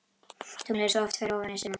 Tunglið er svo oft fyrir ofan Esjuna.